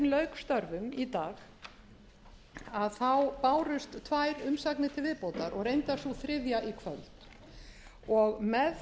störfum í dag þá bárust tvær umsagnir til viðbótar og reyndar sú þriðja í kvöld með